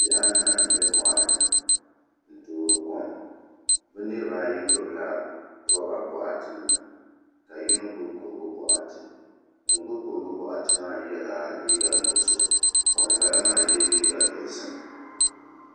Niraba anahi n bɛ moɣali ni n toori kom bi niraba ayi gbubila roba boɣati nima ka yino gbubi kurugu boɣati ŋun gbubi kurigu boɣati maa yɛla liiga nuɣso ka ŋunbala maa yɛ liiga dozim